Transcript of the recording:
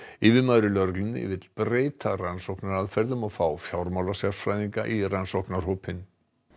yfirmaður í lögreglunni vill breyta rannsóknaraðferðum og fá fjármálasérfræðinga í rannsóknarhópinn